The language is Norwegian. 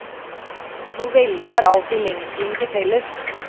Novellene har alltid lengselen til felles.